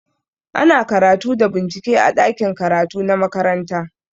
Ana karatu da bincike a ɗakin karatu na makaranta.